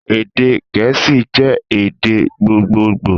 Èdè gẹ̀ẹ́sì jé èdè gbogboogbò